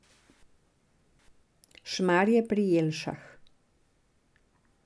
Šmarje pri Jelšah.